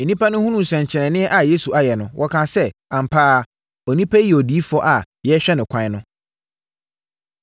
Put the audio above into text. Nnipa no hunuu nsɛnkyerɛnneɛ a Yesu ayɛ no, wɔkaa sɛ, “Ampa ara, onipa yi ne odiyifoɔ a yɛrehwɛ no ɛkwan no.”